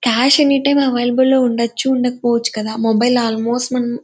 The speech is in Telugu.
క్యాష్ ఎని టైమ్ అవైలబుల్ లో ఉండొచ్చు ఉండకపోవచ్చు కదా మొబైల్ ఆల్మోస్ట్ మనం --